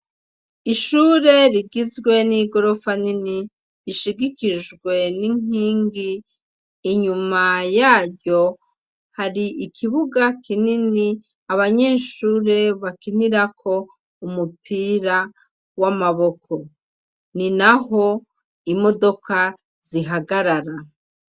Ishure rigizwe n'igorofa nini rishigikijwe n'inkingi inyuma yayo hari ikibuga kinini abanyeshure bakinirako umupira w'amaboko ni na ho imodokazia ihagarara.